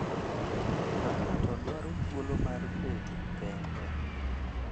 Ka ng’ato dwaro thuolo mar bedo kende.